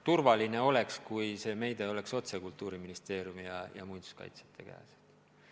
Turvaline oleks, kui see meede oleks otse Kultuuriministeeriumi ja muinsuskaitsjate otsustada.